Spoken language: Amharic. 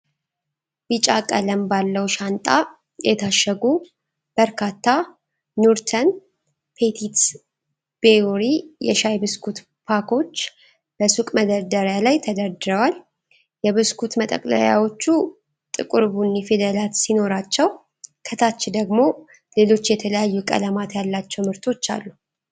ቢጫ ቀለም ባለው ሻንጣ የታሸጉ በርካታ ኑርተን ፔቲት ቤውሪ የሻይ ብስኩት ፓኮች በሱቅ መደርደሪያ ላይ ተደርድረዋል። የብስኩት መጠቅለያዎቹ ጥቁር ቡኒ ፊደላት ሲኖሯቸው፣ ከታች ደግሞ ሌሎች የተለያዩ ቀለማት ያላቸው ምርቶች አሉ።